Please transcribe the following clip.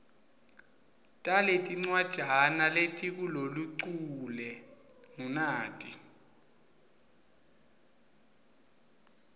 taletincwajana letikuloluchule ngunati